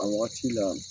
A wagati la